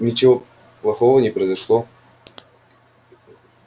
ничего плохого не произошло